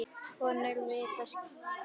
Konur vita slíkt.